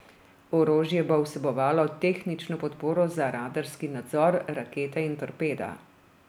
Orožje bo vsebovalo tehnično podporo za radarski nadzor, rakete in torpeda.